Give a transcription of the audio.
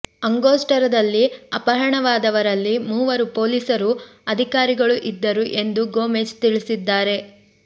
ಅಂಗೊಸ್ಟುರದಲ್ಲಿ ಅಪಹರಣವಾದವರಲ್ಲಿ ಮೂವರು ಪೊಲೀಸರು ಅಧಿಕಾರಿಗಳು ಇದ್ದರು ಎಂದು ಗೊಮೆಜ್ ತಿಳಿಸಿದ್ದಾರೆ